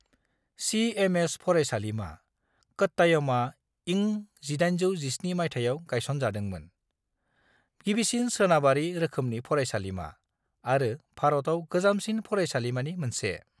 CMS. फरायसालिमा, क'ट्टायमआ इं1817 माइथायाव गायसनजादोमोन, गिबिसिन सोनाबारि रोखोमनि फरायसालिमा, आरो भारतआव गोजामसिन फरायसालिमानि मोनसे।